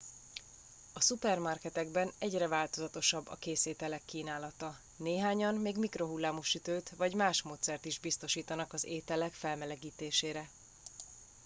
a szupermarketekben egyre változatosabb a készételek kínálata néhányan még mikrohullámú sütőt vagy más módszert is biztosítanak az ételek felmelegítésére